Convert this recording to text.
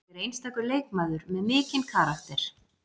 Hún er einstakur leikmaður með mikinn karakter